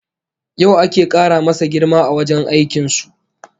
Yau ake kara masa girma a wajen aikin su